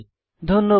ধন্যবাদ